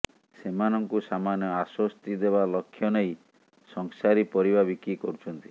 ସେମାନଙ୍କୁ ସାମାନ୍ୟ ଆଶ୍ୱସ୍ତି ଦେବା ଲକ୍ଷ୍ୟ ନେଇ ସଂସାରୀ ପରିବା ବିକ୍ରି କରୁଛନ୍ତି